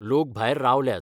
लोक भायर रावल्यात.